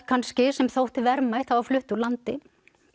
kannski sem þótti verðmætt það var flutt úr landi